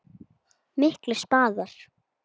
Miklir spaðar.